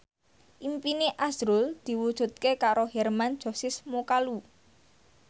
impine azrul diwujudke karo Hermann Josis Mokalu